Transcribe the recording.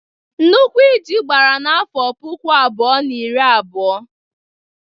Nnukwu íjí gbara n’afọ puku abụọ na iri na abụọ.